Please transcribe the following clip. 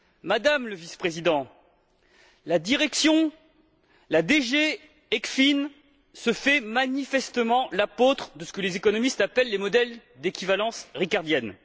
Madame la Vice présidente, la DG ECFIN se fait manifestement l'apôtre de ce que les économistes appellent les modèles d'équivalence ricardienne.